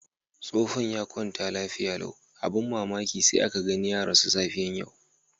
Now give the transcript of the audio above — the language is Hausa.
Tsofon ya kwanta lafiya lau. Abin mamaki sai aka gani ya rasu da safiyan yau.